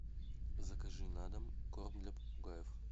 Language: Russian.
закажи на дом корм для попугаев